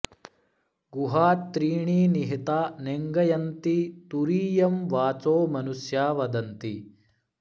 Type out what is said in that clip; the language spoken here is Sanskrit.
गुहा त्रीणि निहिता नेङ्गयन्ति तुरीयं वाचो मनुष्या वदन्ति